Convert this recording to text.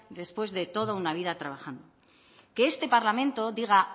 después de toda una vida trabajando que este parlamento diga